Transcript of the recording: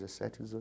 Dezessete,